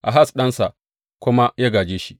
Ahaz ɗansa kuma ya gāje shi.